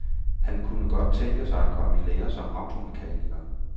Han kunne godt tænke mig at komme i lære som automekaniker.